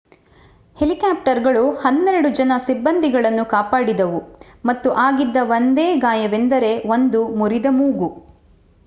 ಹೆಲಿಕಾಪ್ಟರ್‌ಗಳು ಹನ್ನೆರಡು ಜನ ಸಿಬ್ಬಂದಿಗಳನ್ನು ಕಾಪಾಡಿದವು ಮತ್ತು ಆಗಿದ್ದ ಒಂದೇ ಗಾಯವೆಂದರೆ ಒಂದು ಮುರಿದ ಮೂಗು